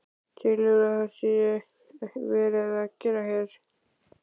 Telurðu að það sé verið að gera hér?